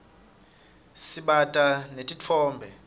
sibata netitfombe